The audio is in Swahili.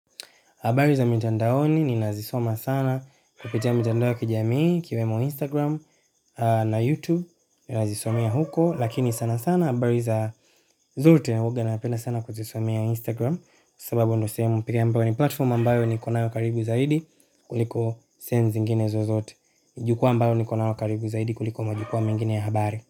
Habari za mitandaoni ninazisoma sana kupitia mitandao ya kijamii ikiwemo Instagram na YouTube ninazisomea huko. Lakini sana sana habari za zote huwa ninapenda sana kuzisomea Instagram. Kwa sababu ndiyo sehemu pekee ambayo ni platform ambayo niko nayo karibu zaidi kuliko sehemu zingine zozote. Jukwaa ambalo niko nalo karibu zaidi kuliko majukwaa mengine ya habari.